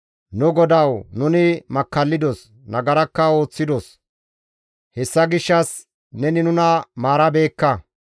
«Nu GODAWU! Nuni makkallidos; nagarakka ooththidos; hessa gishshas neni nuna maarabeekka.